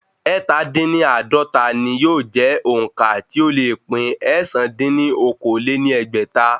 Ẹ́ta dín ní àádọ́ta ni yóò sì jẹ́ òǹkà tí ó le pín ẹ̀sán dín ní okòó-lé-ní-ẹgbẹ́ta.